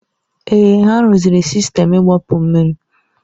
Èè, ha rụziri sistemu igbapu mmiri.